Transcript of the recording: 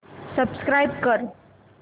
subscribe कर